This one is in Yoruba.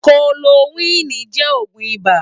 Kólórókwin jè ógún ibá